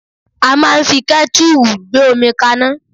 A máa ń fi kẹ́tùrù gbé omi kaná